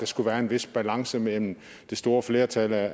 skulle være en vis balance mellem det store flertal af